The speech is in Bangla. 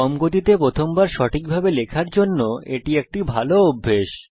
কম গতিতে প্রথম বার সঠিকভাবে লেখার জন্য এটি একটি ভালো অভ্যাস